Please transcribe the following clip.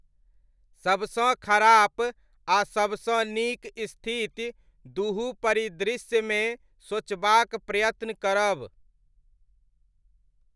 सबसँ खराप आ सबसँ नीक स्थिति दुहु परिदृश्यमे सोचबाक प्रयत्न करब।